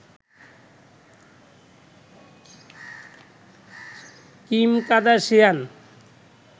Kim Kardashian.